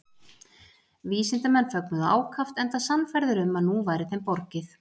vísindamennirnir fögnuðu ákaft enda sannfærðir um að nú væri þeim borgið